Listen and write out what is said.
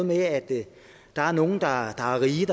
med at der er nogle der er rige